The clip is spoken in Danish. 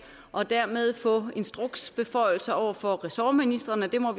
og dermed få instruksbeføjelser over for ressortministrene vi må